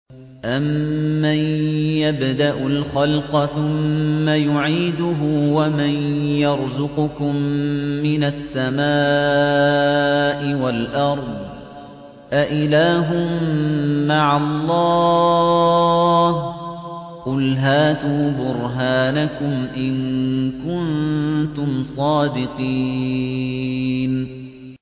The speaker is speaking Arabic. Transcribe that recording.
أَمَّن يَبْدَأُ الْخَلْقَ ثُمَّ يُعِيدُهُ وَمَن يَرْزُقُكُم مِّنَ السَّمَاءِ وَالْأَرْضِ ۗ أَإِلَٰهٌ مَّعَ اللَّهِ ۚ قُلْ هَاتُوا بُرْهَانَكُمْ إِن كُنتُمْ صَادِقِينَ